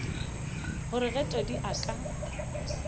gore ge todi a ka